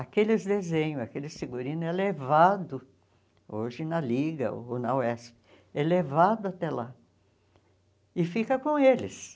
Aqueles desenhos, aquele figurino é levado, hoje na Liga ou na UESP, é levado até lá e fica com eles.